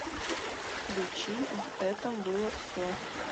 включи в этом было все